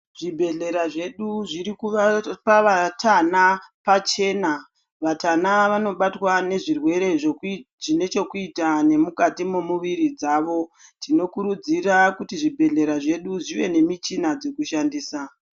Zvibhehleya zvedu zviri kuu kuvapa vatana pachena vatana vanobatwa nezvirwere zveku zvinechekuita nemukati memuiiri dzavo tinokuridzira kuti zvibhehlera zvedu zveve nemuchina dzekushandisa.